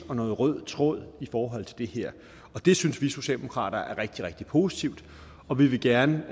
en rød tråd i forhold til det her og det synes vi socialdemokrater er rigtig rigtig positivt og vi vil gerne